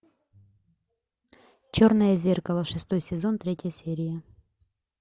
черное зеркало шестой сезон третья серия